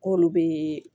K'olu be